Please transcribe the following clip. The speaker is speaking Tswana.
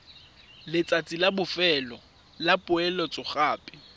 letsatsi la bofelo la poeletsogape